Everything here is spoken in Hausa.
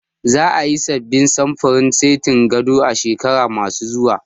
Za a yi sabbin samfurin setin gado a shekaru ma su zuwa